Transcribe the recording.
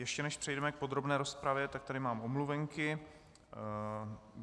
Ještě než přejdeme k podrobné rozpravě, tak tady mám omluvenky.